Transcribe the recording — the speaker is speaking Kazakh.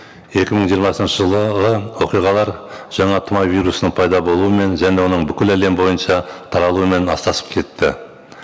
екі мың жиырмасыншы жылы оқиғалар жаңа тұмау вирусының пайда болуымен және оның бүкіл әлем бойынша таралуымен астасып кетті